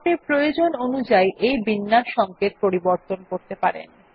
আপনি প্রয়োজন অনুযাই এই বিন্যাস সংকেত পরিবর্তন করতে পারেন